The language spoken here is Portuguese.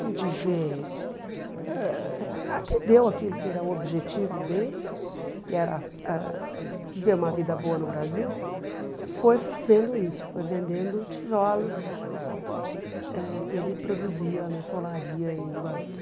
como dizer, ãh atendeu aquilo que era o objetivo dele, que era ãh viver uma vida boa no Brasil, foi fazendo isso, foi vendendo tijolos eh que ele produzia nessa solaria em Guarulhos.